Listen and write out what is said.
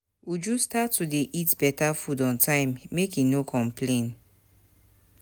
Uju start to dey eat beta food on time, make e no complain.